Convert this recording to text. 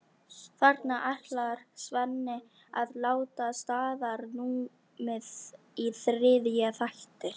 Þarna ætlar Svenni að láta staðar numið í þriðja þætti.